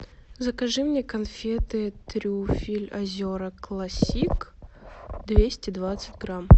закажи мне конфеты трюфель озера классик двести двадцать грамм